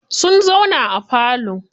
Sun zauna a falo.